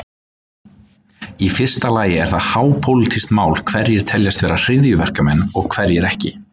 Í fyrsta lagi er það hápólitískt mál hverjir teljast vera hryðjuverkamenn og hverjir ekki.